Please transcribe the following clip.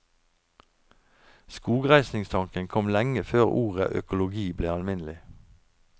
Skogreisningstanken kom lenge før ordet økologi ble alminnelig.